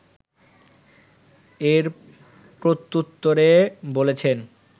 এর প্রত্যুত্তরে বলেছেন